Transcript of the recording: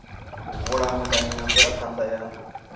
vhulamukanyi na mvelaphan ḓa ya